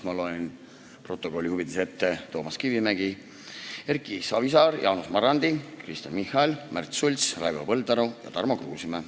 Ma loen osalejad protokolli huvides ette: Toomas Kivimägi, Erki Savisaar, Jaanus Marrandi, Kristen Michal, Märt Sults, Raivo Põldaru ja Tarmo Kruusimäe.